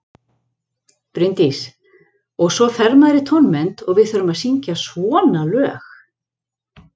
Bryndís: Og svo fer maður í tónmennt og við þurfum að syngja svona lög.